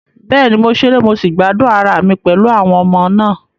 Bẹ́ẹ̀ni, mo ṣeré mo sì gbádùn ara mi pẹ̀lú àwọn ọmọ náà.